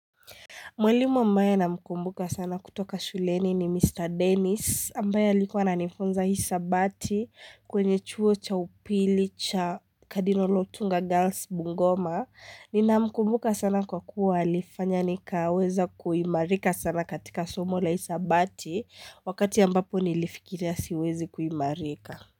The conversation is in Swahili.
Mwalimu ambaye namkumbuka sana kutoka shuleni ni Mr. Dennis ambaye alikuwa ananifunza hisabati kwenye chuo cha upili cha kadino lotunga girls bungoma. Nina mkumbuka sana kwa kuwa alifanya nikaweza kuimarika sana katika somo la hisabati wakati ambapo nilifikiria siwezi kuimarika.